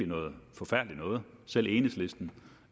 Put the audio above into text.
noget forfærdeligt noget selv enhedslisten